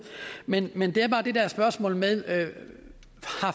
men men det er bare det der spørgsmål med at have